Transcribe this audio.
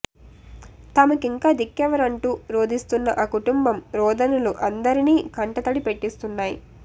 తమకింక దిక్కెవరంటూ రోదిస్తున్న ఆ కుటుంబం రోదనలు అందరిని కంటతడి పెట్టిస్తున్నాయి